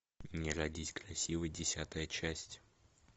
не родись красивой десятая часть